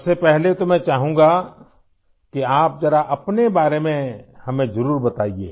सबसे पहले तो मैं चाहूँगा कि आप ज़रा अपने बारे में हमें ज़रुर बताइए